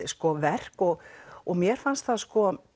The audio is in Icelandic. verk og og mér fannst það